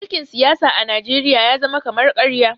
mulkin siyasa a najeriya ya zama kama karya